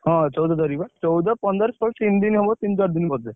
ହଁ, ଚଉଦ ତାରିଖ ବା, ଚଉଦ, ପନ୍ଦର, ଷୋହଳ ତିନି ଦିନି ହବ ତିନି ଚାରିଦିନି ବୋଧେ।